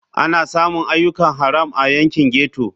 Ana samun ayyukan haram a yankin ghetto.